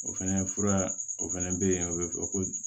O fɛnɛ fura o fɛnɛ be yen o be fɔ ko